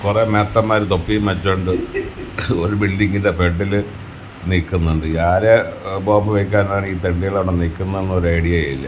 കുറെ മേത്തൻമാര് തൊപ്പിയും വെച്ചുകൊണ്ട് ഒരു ബിൽഡിങ്ങിന്റെ ഫ്രണ്ടില് നിൽക്കുന്നുണ്ട് ആരെ ബോംബ് വെക്കാൻ ആണ് ഈ തെണ്ടികൾ അവിടെ നിൽക്കുന്നതെന്ന് ഒര് ഐഡിയയും ഇല്ല.